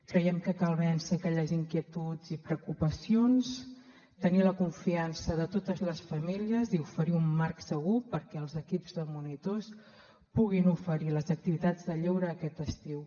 creiem que cal vèncer aquelles inquietuds i preocupacions tenir la confiança de totes les famílies i oferir un marc segur perquè els equips de monitors puguin oferir les activitats de lleure aquest estiu